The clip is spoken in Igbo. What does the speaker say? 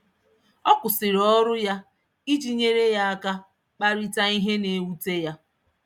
Ọ kwụsịrị ọrụ ya iji nyere ya aka kparịta ihe na-ewute ya.